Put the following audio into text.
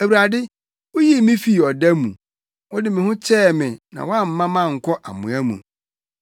Awurade, wuyii me fii ɔda mu; wode me ho kyɛɛ me na woamma mankɔ amoa mu.